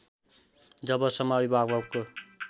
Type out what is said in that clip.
जबसम्म अभिभावकको